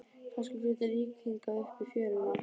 Kannski flýtur lík hingað upp í fjöruna.